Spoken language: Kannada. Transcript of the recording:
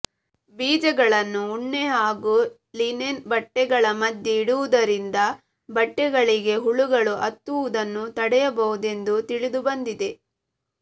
ಬೀಜಗಳನ್ನು ಉಣ್ಣೆ ಹಾಗೂ ಲಿನೆನ್ ಬಟ್ಟೆಗಳ ಮಧ್ಯೆ ಇಡುವುದರಿಂದ ಬಟ್ಟೆಗಳಿಗೆ ಹುಳುಗಳು ಹತ್ತುವುದನ್ನು ತಡೆಯಬಹುದೆಂದು ತಿಳಿದುಬಂದಿದೆ